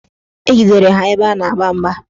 Ejidere ha ebe ha na-agba mgba